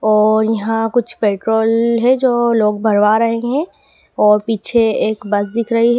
और यहां कुछ पेट्रोल है जो लोग भरवा रहे हैं और पीछे एक बस दिख रही--